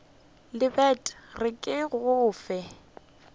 lebet re ke go fe